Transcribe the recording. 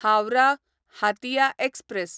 Howrah Hatia express